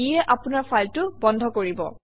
ইয়ে আপোনৰ ফাইলটো বন্ধ কৰিব